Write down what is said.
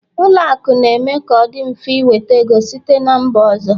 Ụlọ akụ na-eme ka ọ dị mfe ị nweta ego site na mba ọzọ